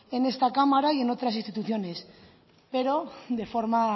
en esta cámara y en otras instituciones pero de forma